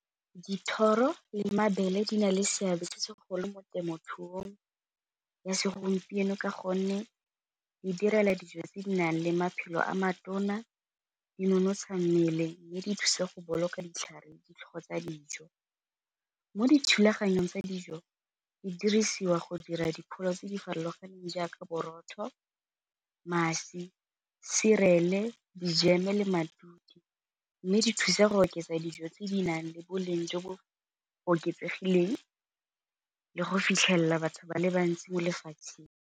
Dithoro le mabele di na le seabe se segolo mo temothuong ya segompieno ka gonne di direla dijo tse di nang le maphelo a matona, di nonotsha mmele mme di thusa go boloka ditlhare di tsa dijo. Mo dithulaganyong tsa dijo di dirisiwa go dira dipholo tse di farologaneng jaaka borotho, mašwi, cereal-e, dijeme, matute mme di thusa go oketsa dijo tse di nang le boleng jo bo oketsegileng le go fitlhelela batho ba le bantsi mo lefatsheng.